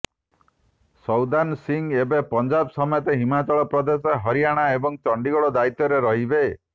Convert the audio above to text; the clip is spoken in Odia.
ସୌଦାନ ସିଂହ ଏବେ ପଞ୍ଜାବ ସମେତ ହିମାଚଳ ପ୍ରଦେଶ ହରିୟାଣା ଏବଂ ଚଣ୍ଡିଗଡ ଦାୟିତ୍ବରେ ରହିବେ